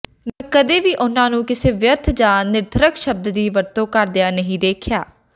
ਮੈਂ ਕਦੇ ਵੀ ਉਹਨਾਂ ਨੂੰ ਕਿਸੇ ਵਿਅਰਥ ਜਾਂ ਨਿਰਥਰਕ ਸ਼ਬਦ ਦੀ ਵਰਤੋਂ ਕਰਦਿਆਂ ਨਹੀਂ ਦੇਖਿਆ